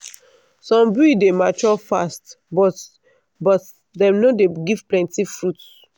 some breed dey mature fast but but dem no give plenty fruit.